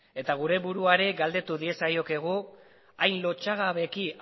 eta gure burua ere galdetu diezaiokegu hain lotsagabeki